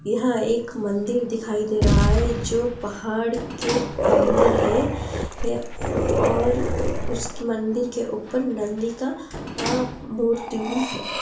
यहाँ एक मंदिर दिखाई दे रहा है| जो पहाड़ के अंदर है और उस मंदिर के ऊपर नंदी का मूर्ति भी है |